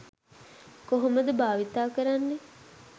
කොහොමද භාවිතා කරන්නේ.